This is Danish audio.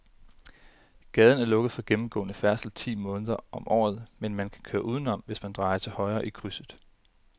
Gaden er lukket for gennemgående færdsel ti måneder om året, men man kan køre udenom, hvis man drejer til højre i krydset.